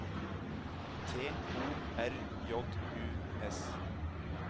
T O R J U S